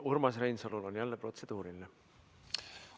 Urmas Reinsalul on jälle protseduuriline küsimus.